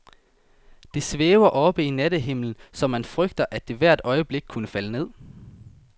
Det svæver oppe i nattehimlen, så man frygter, at det hvert øjeblik kunne falde ned.